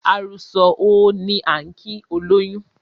"àrù sọ̀ óò" ni á ń kìí olóyún.